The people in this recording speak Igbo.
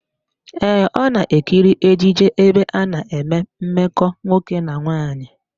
Ee, ọ na-ekiri ejije ebe a na-eme mmekọ nwoke na nwaanyị.